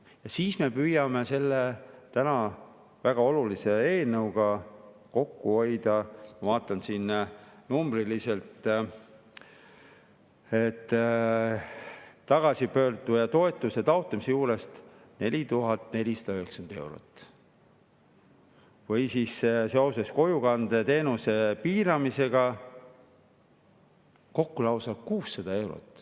Ja siis me püüame selle väga olulise eelnõuga kokku hoida, vaatan siin numbriliselt, tagasipöörduja toetuse taotlemise vallas 4490 eurot ja kojukandeteenuse piiramisega kokku lausa 600 eurot.